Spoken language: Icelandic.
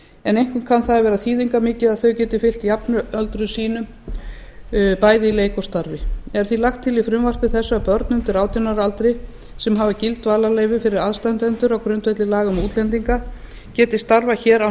en einkum kann það að vera þýðingarmikið að þau geti fylgt jafnöldrum sínum bæði í leik og starfi er því lagt til í frumvarpi þessu að börnum undir átján ára aldri sem hafa gild dvalarleyfi fyrir aðstandendur á grundvelli laga um útlendinga geti starfað hér án